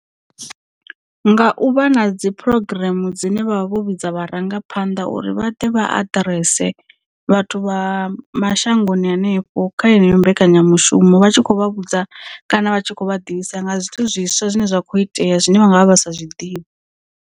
Nga u vha na dzi program dzine vha vha vho vhidza vharangaphanḓa uri vha ḓe vha aḓirese vhathu vha mashangoni hanefho kha heneyo mbekanyamushumo vha tshi khou vha vhudza kana vha tshi khou vhaḓivhisa nga zwithu zwiswa zwine zwa kho itea zwine vha nga vha vha sa zwiḓivhi.